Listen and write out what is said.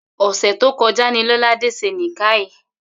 Ò̩sè̩ tó ko̩já ni Lo̩ládé s̩e Nìkáà